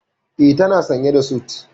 E, tana sanye da sut.